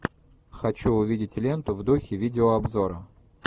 хочу увидеть ленту в духе видеообзора